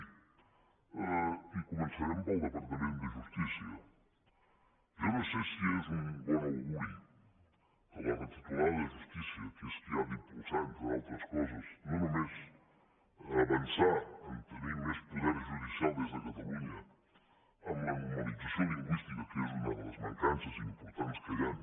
i començarem pel departament de justícia jo no sé si és un bon auguri que la titular de justícia que és qui ha d’impulsar entre altres coses no només avançar per tenir més poder judicial des de catalunya en la normalització lingüística que és una de les mancances importants que hi han